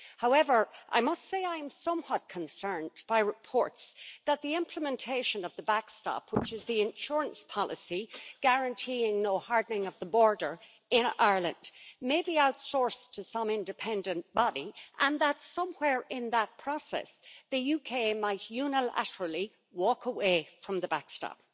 However, I must say I am somewhat concerned by reports that the implementation of the backstop, which is the insurance policy guaranteeing no hardening of the border in Ireland, may be outsourced to some independent body and that somewhere in that process, the UK might unilaterally walk away from the backstop.